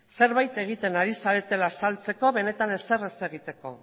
zerbait egiten ari zaretela azaltzeko benetan ezer ez egiteko